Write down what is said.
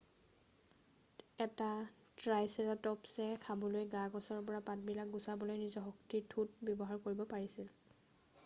এটা ট্ৰাইচেৰাটপছে খাবলৈ গা-গছৰ পৰা পাতবিলাক গুচাবলৈ নিজৰ শক্তিশালী ঠোঁট ব্যৱহাৰ কৰিব পাৰিছিল